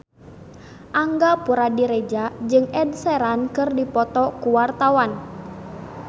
Angga Puradiredja jeung Ed Sheeran keur dipoto ku wartawan